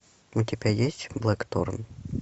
у тебя есть блэкторн